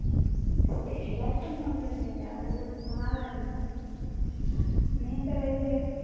special ആയിട്ട് ഒന്നുമില്ല രാവിലെ ഉപ്പുമാവായിരുന്നു നീയെന്താ കഴിച്ച്?